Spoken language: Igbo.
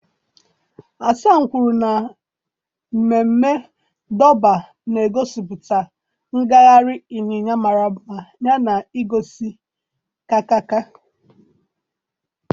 Hasan kwuru na mmemme Durbar na-egosipụta ngagharị ịnya ịnyịnya mara mma yana ihe ngosi nka nka nka